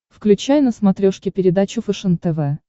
включай на смотрешке передачу фэшен тв